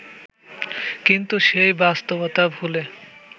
কিন্তু সেই বাস্তবতা ভুলে